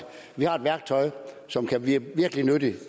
vi har et værktøj som kan blive virkelig nyttigt